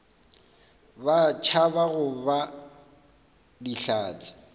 ba tšhaba go ba dihlatse